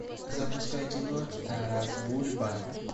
запускай кино тарас бульба